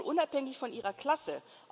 geben soll unabhängig von ihrer Klasse.